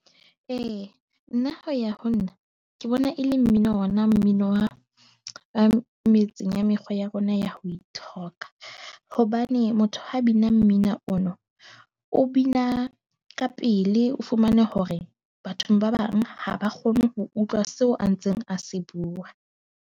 E, nna ho ya ho nna, ke bona e le mmino ona mmino wa, metseng ya mekgwa ya rona ya ho ithoka. Hobane motho ha bina mmino ona, o bina ka pele, o fumane hore bathong ba bang ha ba kgone ho utlwa seo a ntseng a se bua.